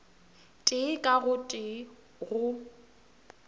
tee ka o tee go